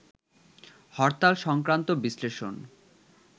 হরতাল-সংক্রান্ত বিশ্লেষণ